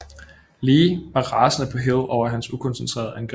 Lee var rasende på Hill over hans ukoncentrerede angreb